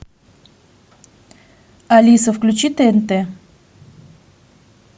алиса включи тнт